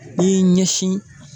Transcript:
I y'i ɲɛsin